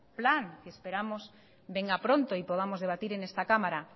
plan que esperamos venga pronto y podamos debatir en esta cámara